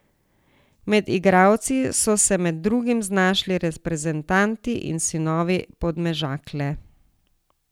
Med igralci so se med drugim znašli reprezentanti in sinovi Podmežakle.